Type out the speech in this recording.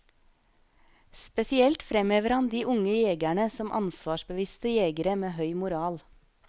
Spesielt fremhever han de unge jegerne som ansvarsbevisste jegere med høy moral.